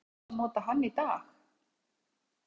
En eiga fjárfestar að nota hann í dag?